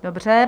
Dobře.